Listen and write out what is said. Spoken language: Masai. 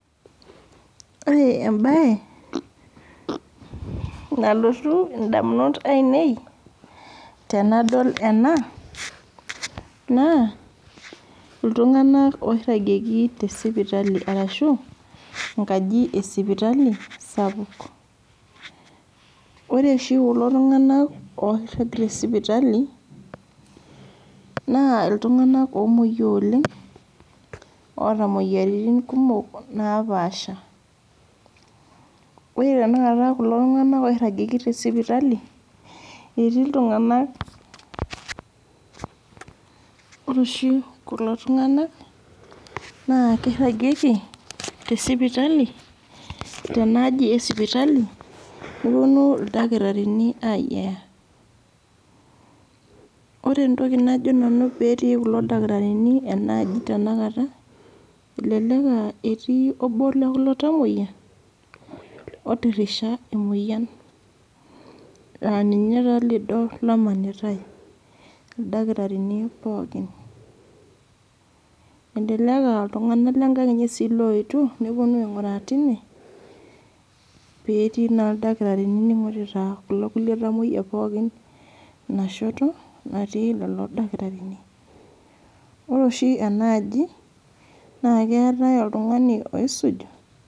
ore mbae nalotu edamunot ainei tenadol ena naa iltung'ana orangieki tee sipitali arashu enkajit ee esipitali sapuk ore oshi kulo tung'ana oirag tee sipitali naa iltung'ana omoyia oleng otaa moyiaritin kumok napashaa ore tanakata oirajieki tee sipitali etii iltung'ana ore oshi kulo tung'ana oirajieki tee naaji ee esipitali pee epuonu ildakitarini ayiayaa ore entoki najo nanu petii ildakitarini enaaji tanakata elelek aa etii obo lekulo tamuoyia otirisha emoyian aa ninye taa lildo omanitai ildakitarini pookin elelek aa iltung'ana lenkag enye oyetuo nepuonu aing'uraa tine pee tii naa ildakitarini ningorita kulo kulie tamuoyia enashoto natii lelo dakitarini ore oshi enaiko enaaji naa keetae oltung'ani oisuj